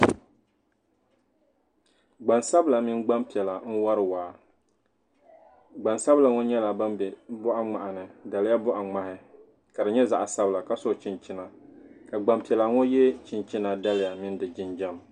Gban sabila mini gban piɛla n wari waa gban sabila nyɛla ban be bɔɣa ŋmaa ni daliya bɔɣa ŋmaa ka di nyɛ zaɣ'sabila ka so chinchina ka gban piɛla ŋɔ ye chinchina daliya mini di jinjam.